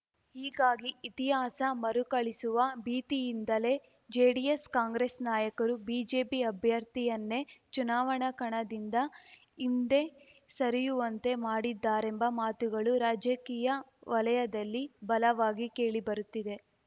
ಹೀಗಾಗಿ ಇತಿಹಾಸ ಮರುಕಳಿಸುವ ಭೀತಿಯಿಂದಲೇ ಜೆಡಿಎಸ್‌ಕಾಂಗ್ರೆಸ್‌ ನಾಯಕರು ಬಿಜೆಪಿ ಅಭ್ಯರ್ಥಿಯನ್ನೇ ಚುನಾವಣಾ ಕಣದಿಂದ ಹಿಂದೆ ಸರಿಯುವಂತೆ ಮಾಡಿದ್ದಾರೆಂಬ ಮಾತುಗಳು ರಾಜಕೀಯ ವಲಯದಲ್ಲಿ ಬಲವಾಗಿ ಕೇಳಿ ಬರುತ್ತಿದೆ